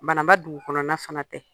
Bananba dugu kɔnɔna fana tɛ.